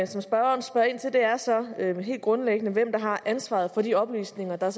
som spørgeren spørger ind til er så helt grundlæggende hvem der har ansvaret for de oplysninger der